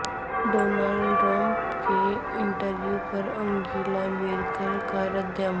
Donald Trump کے interview پر Angela Merkel کا رد عمل